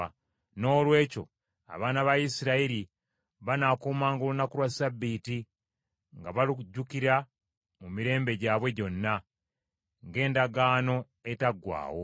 Noolwekyo abaana ba Isirayiri banaakumanga olunaku lwa Ssabbiiti, nga balujjukira mu mirembe gyabwe gyonna, ng’endagaano etaggwaawo.